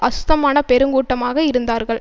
அசுத்தமான பெருங்கூட்டமாக இருந்தார்கள்